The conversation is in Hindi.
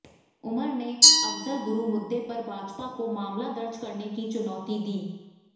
उमर ने अफजल गुरु मुद्दे पर भाजपा को मामला दर्ज करने की चुनौती दी